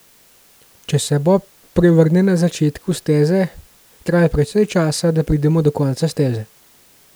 Če se bob prevrne na začetku steze, traja precej časa, da pridemo do konca steze.